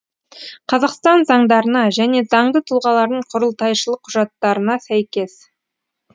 қазақстан заңдарына және заңды тұлғалардың құрылтайшылық құжаттарына сәйкес